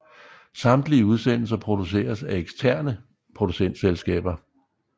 Samtlige udsendelser produceres af eksterne producentselskaber